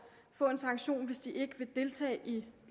få en sanktion hvis ikke de vil deltage i